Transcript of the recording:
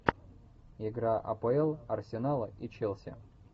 игра апл арсенала и челси